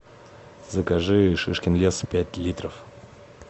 закажи шишкин лес пять литров